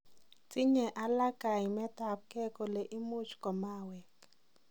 Tinyee aleek kaimeet ab ngei kole muuch komaweng.